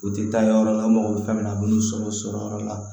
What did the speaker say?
U tɛ taa yɔrɔ la mɔgɔ bɛ fɛn min na a bɛ n'u sɔrɔ yɔrɔ la